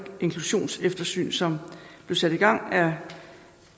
inklusionseftersyn som blev sat i gang af